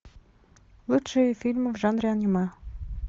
лучшие фильмы в жанре аниме